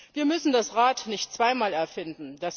Wir müssen das Rad nicht zweimal erfinden.